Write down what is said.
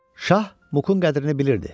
Şah Muqun qədrini bilirdi.